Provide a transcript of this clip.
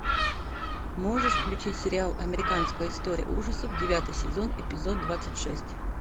можешь включить сериал американская история ужасов девятый сезон эпизод двадцать шесть